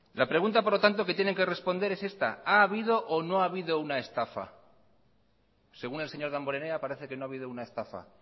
la pregunta por lo tanto que tienen que responder es esta ha habido o no habido una estafa según el señor damborenea parece que no ha habido una estafa